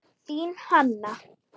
Þín, Hanna.